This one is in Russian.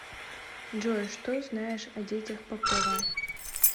джой что знаешь о детях попова